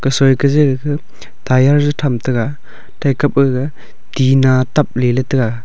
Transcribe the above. gasoi ke je gaka tyre je tham tega thai kapaga tina tapley ley tega.